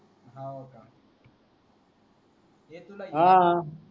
हे तुला हा हा